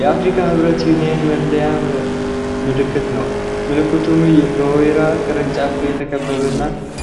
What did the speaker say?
የአፍሪካ ህብረት (African Union) መለያ ምልክት ነው፤ ምልክቱም በወይራ ቅርንጫፎች የተከበበ እና